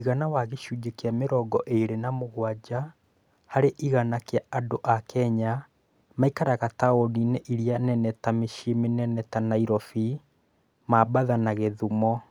Mũigana wa gĩcunjĩ kĩa mĩrongo ĩĩrĩ na mũgwanja harĩ igana kĩa andũ a Kenya maikaraga taũni-inĩ iria nene ta mĩcīī mĩnene ta Nairobi, Maabatha na Gĩthũmo.